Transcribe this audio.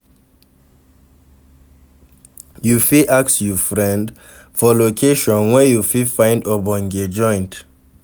You fit ask you friend for location where you fit find ogbonge joint